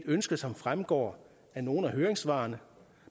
ønske som fremgår af nogle af høringssvarene